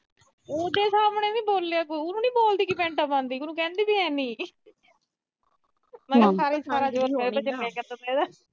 ਉਹਦੇ ਸਾਹਮਣੇ ਨੀ ਬੋਲਿਆ ਗਿਆ, ਬਹੂ ਨੂੰ ਨੀ ਬੋਲਦੀ ਕਿ ਪੈਂਟਾਂ ਪਾਉਂਦੀ, ਉਹਨੂੰ ਕਹਿੰਦੀ ਵੀ ਹੈਨੀ। ਮੈਂ ਕਿਹਾ ਸਾਰਾ ਜੋਰ ਮੇਰੇ ਤੇ ਹੀ ਚਲਿਆ ਕਰਦਾ ਸੀ ਇਦਾਂ